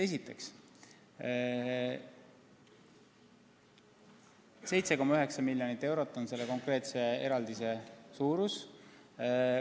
Esiteks, 7,9 miljonit eurot on selle konkreetse eraldise suurus.